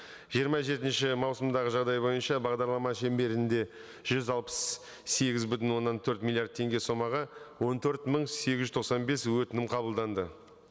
жиырма жетінші маусымдағы жағдай бойынша бағдарлама шеңберінде жүз алпыс сегіз бүтін оннан төрт миллиард теңге сомаға он төрт мың сегіз жүз тоқсан бес өтінім қабылданды